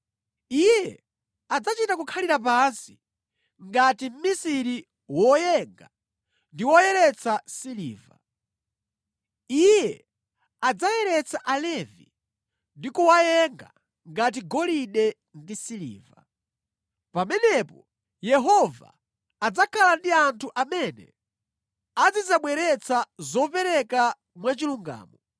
Iye adzachita kukhalira pansi ngati mmisiri woyenga ndi woyeretsa siliva. Iye adzayeretsa Alevi ndi kuwayenga ngati golide ndi siliva. Pamenepo Yehova adzakhala ndi anthu amene azidzabweretsa zopereka mwachilungamo,